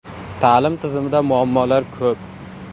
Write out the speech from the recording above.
Ta’lim tizimida muammolar ko‘p.